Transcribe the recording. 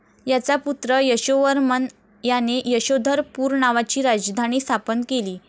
याचा पुत्र यशोवर्मन याने यशोधर पूर नावाची राजधानी स्थापन केली